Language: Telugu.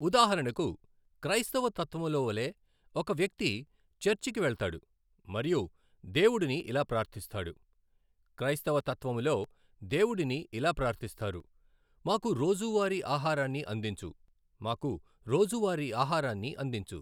ఉదాహరణకు క్రైస్తవ తత్వములోవలె ఒక వ్యక్తి చర్చికి వెళతాడు మరియు దేవుడుని ఇలా ప్రార్థిస్తాడు. క్రైస్తవ తత్వములో దేవుడుని ఇలా ప్రార్థిస్తారు, మాకు రోజువారి ఆహారాన్ని అందించు మాకు రోజువారి ఆహారాన్ని అందించు.